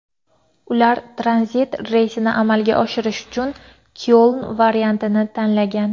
Ular tranzit reysni amalga oshirish uchun Kyoln variantini tanlagan.